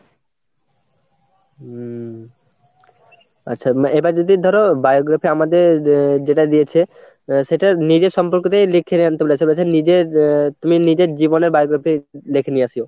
হম আচ্ছা এটা যদি ধরো biography আমাদের যেটা দিয়েছে সেটা নিজের সম্পর্ক দিয়েই লিখে নিয়ে আনতে বলেছে, নিজের তুমি নিজের জীবনে biography লেখে নিয়ে আসিয়ো।